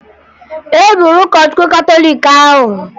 E gburu ụkọchukwu katọliiki ahụ